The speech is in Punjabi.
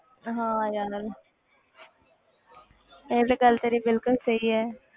ਹਾਂ ਯਾਰ ਇਹ ਤੇ ਗੱਲ ਤੇਰੀ ਬਿਲਕੁਲ ਸਹੀ ਹੈ।